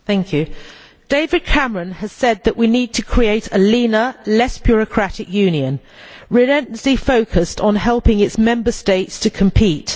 Mr President, David Cameron has said that we need to create a leaner, less bureaucratic Union relentlessly focused on helping its Member States to compete.